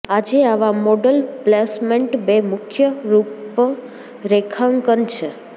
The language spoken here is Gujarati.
આજે આવા મોડલ પ્લેસમેન્ટ બે મુખ્ય રૂપરેખાંકન છે